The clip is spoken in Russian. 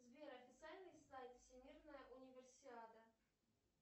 сбер официальный сайт всемирная универсиада